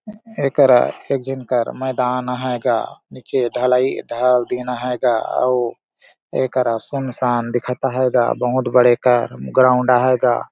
एकरा एक झन का मैदान अहाय गा नीचे ढलाई ढाल दीन अहाय गा अऊर एकरा सुनसान दिखत अहाय गा बहुत बड़े का ग्राउंड अहाय गा।